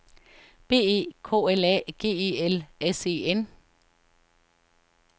B E K L A G E L S E N